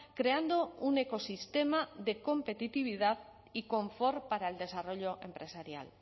creando un ecosistema de competitividad y confort para el desarrollo empresarial